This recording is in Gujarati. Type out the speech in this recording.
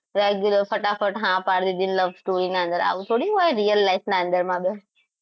Regular ફટાફટ હા પાડી દીધી ને love story ના અંદર આવું થોડી હોય real life ના અંદર life માં